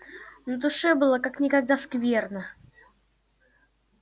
на душе было как никогда скверно